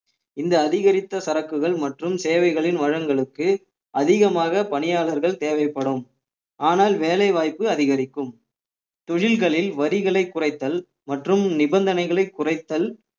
இந்த அதிகரித்த சரக்குகள் மற்றும் சேவைகளின் வளங்களுக்கு அதிகமாக பணியாளர்கள் தேவைப்படும் ஆனால் வேலை வாய்ப்பு அதிகரிக்கும் தொழில்களில் வரிகளை குறைத்தல் மற்றும் நிபந்தனைகளை குறைத்தல்